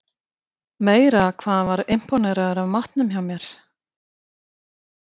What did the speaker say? Meira hvað hann var impóneraður af matnum hjá mér.